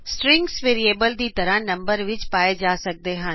string number ਦੀ ਤਰ੍ਹਾਂ variables ਵਿਚ ਪਾਏ ਜਾ ਸਕਦੇ ਹਨ